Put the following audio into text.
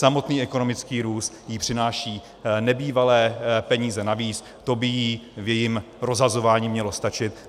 Samotný ekonomický růst jí přináší nebývalé peníze navíc, to by jí v jejím rozhazování mělo stačit.